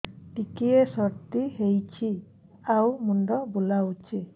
ଟିକିଏ ସର୍ଦ୍ଦି ହେଇଚି ଆଉ ମୁଣ୍ଡ ବୁଲାଉଛି